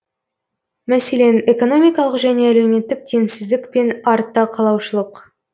мәселен экономикалық және әлеуметтік теңсіздік пен артта қалушылық